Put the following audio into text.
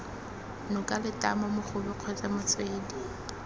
noka letamo mogobe kgotsa motswedi